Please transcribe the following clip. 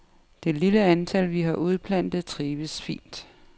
Det lille antal, vi har udplantet, trives fint.